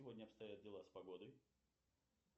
сегодня обстоят дела с погодой